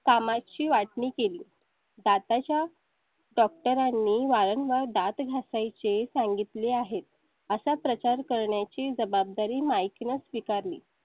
कामाची वाटणी केली. दाता च्या doctor नी वारंवार दात घासाय चे सांगितले आहेत असा प्रचार करण्याची जबाबदारी mick ने स्वीकार णे.